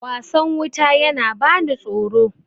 wasan wuta yana bani tsoro